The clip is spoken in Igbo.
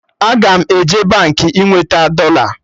Aga m eje Baankị ị nweta dọla